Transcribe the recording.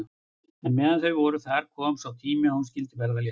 En meðan þau voru þar kom sá tími er hún skyldi verða léttari.